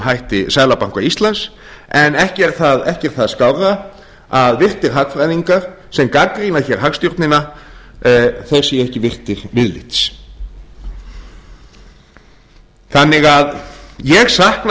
hætti seðlabanka íslands en ekki er það skárra að virtir hagfræðingar sem gagnrýna hér hagstjórnina séu ekki virtir viðlits þannig að ég sakna